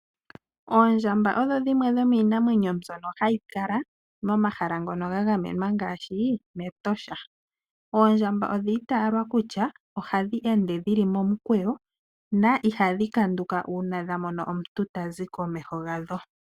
Oondjamba odho dhimwe dho miinamwenyo mbyono hayi kala momahala ngono ga gamenwa ngaashi mEtosha. Oondjamba odhi itaalwa kutya ohadhi ende dhili momukweyo na ihadhi kanduka uuna dha mono omuntu tazi komeho gadho.